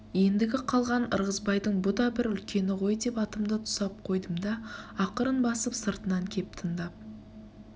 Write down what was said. ендігі қалған ырғызбайдың бұ да бір үлкені ғой деп атымды тұсап қойдым да ақырын басып сыртынан кеп тындап